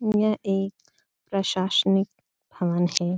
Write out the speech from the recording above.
यह एक प्रशासनिक भवन है ।